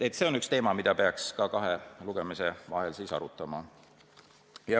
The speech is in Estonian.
See on üks teema, mida peaks ka kahe lugemise vahel arutama.